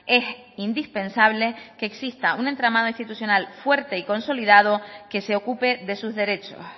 es indispensable que exista un entramado institucional fuerte y consolidado que se ocupe de sus derechos